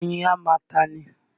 Oyin á máa ta ni.